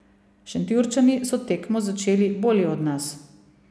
Šentjurčani so tekmo začeli bolje od nas.